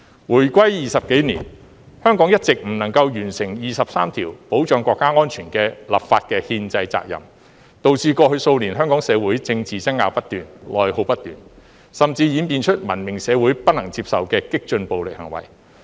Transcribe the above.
回歸20多年，香港一直未能完成第二十三條保障國家安全的立法的憲制責任，導致過去數年香港社會政治爭拗不斷，內耗不斷，甚至演變出文明社會不能接受的激進暴力行為。